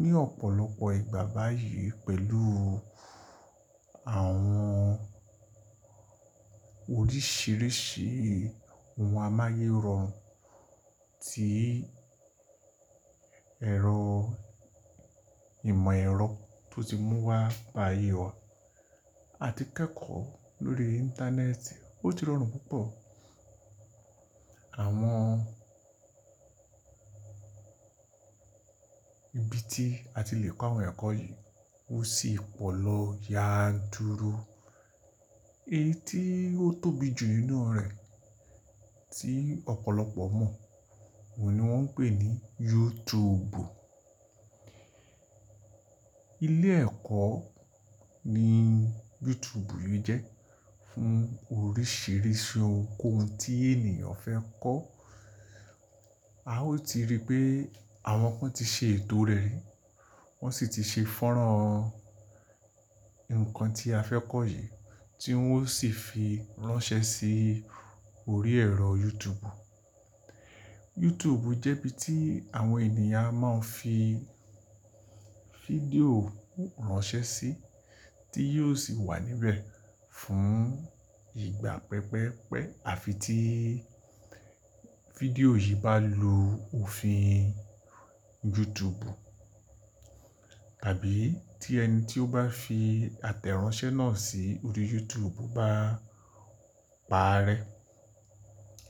ní ọ̀pọ̀lọpọ̀ ìgbà báyìí pẹ̀lú àwọn oríṣìíríṣìí ohun amáyé rọrùn tí ẹ̀rọ ìmọ̀ ẹ̀rọ tó ti mú wá bá'yé wà, àti kẹ́kọ̀ọ́ lórí Íńtánẹ́ẹ̀tì ó ti rọrùn púpọ̀. Àwọn ibi tí a ti le kọ́ àwọn ẹ̀kọ́ yìí ó sì pọ̀ lọ, yanturu Èyí tí ó tóbi jù nínú rẹ̀ tí ọ̀pọ̀lọpọ̀ mọ̀, òun ni wọ́n ń pè ní YouTube. Ilé ẹ̀kọ́ ni YouTube yìí jẹ́ fún oríṣìíríṣìí ohunkóhun tí ènìyàn fẹ́ kọ́. A ó ti rí pé àwọn kan ti ṣe ètò rẹ̀, wọ́n sì ti ṣe fọ́nrán nnkan tí a fẹ́ kọ́ yìí, tí wọ́n ó sì fi ránṣẹ́ sí orí ẹ̀rọ YouTube. YouTube jẹ́ ibi tí àwọn ènìyàn a máa fi fídíò ránṣẹ́ sí, tí yóò sì wà níbẹ̀ fún ìgbà pẹ́jpẹ́jpẹ́. Àfi tí fídíò yìí bá lu òfin YouTube, tàbí tí ẹni tí ó bá fi àtẹ̀ránṣẹ́ náà sí orí YouTube bá pa á rẹ́,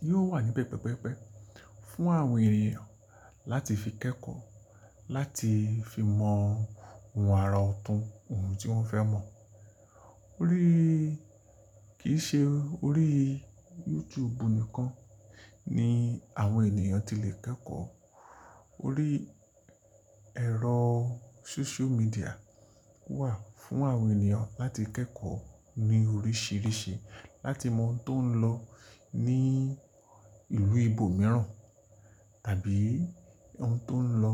yóò wà níbẹ̀ pẹ́pẹ́pẹ́ fún àwọn ènìyàn láti fi kẹ́kọ̀ọ́, láti fi mọ ohun ara ọ̀tún ohun tí wọ́n fẹ́ mọ̀. Orí kì í ṣe orí YouTube nìkan ni àwọn ènìyàn ti lè kẹ́kọ̀ọ́, orí ẹ̀rọ Sóṣíó midià wà fún àwọn ènìyàn láti kẹ́kọ̀ọ́ ní oríṣìíríṣìí, láti mọ ohun tó ń lọ ní ìlú ibo mìíràn, tàbí ohun tó ń lọ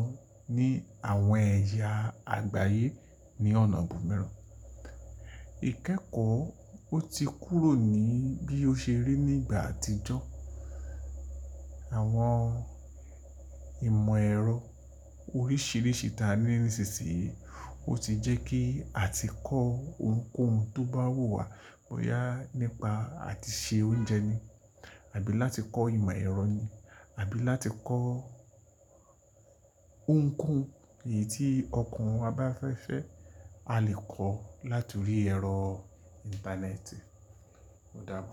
ní àwọn ẹ̀yà àgbáyé ní ọ̀nà bọ̀ míràn. Ìkẹ́kọ̀ọ́ ó ti kúrò ní bí ó ṣe rí ní ìgbà àtijọ́. Àwọn ìmọ̀ ẹ̀rọ oríṣìíríṣìí ta ní ìsinsìnyí ó ti jẹ́ kí àti kọ́ ohunkóhun tó bá wù wá, kò yá nípa àti se oúnjẹ ni, àbí láti kọ́ ìmọ̀ ẹ̀rọ ni, àbí láti kọ́ ohunkóhun, èyí tí ọkàn wa ba fẹ́ fẹ́, a lè kọ̀ láti orí ẹ̀rọ Íńtánẹ́ẹ̀tì. Ó dábo.